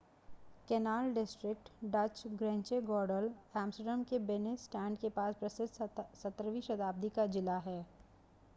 canal district Dutch: Grachtengordel Amsterdam के Binnenstad के पास प्रसिद्ध 17 वीं शताब्दी का ज़िला है